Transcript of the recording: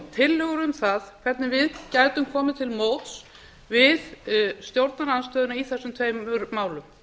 tillögur um það hvernig við gætum komið til móts við stjórnarandstöðuna í þessum tveimur málum